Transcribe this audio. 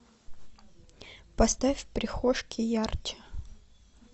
поставь в прихожке ярче